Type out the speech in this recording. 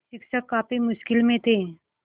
शिक्षक काफ़ी मुश्किल में थे